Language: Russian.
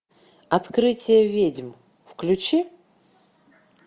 открытие ведьм включи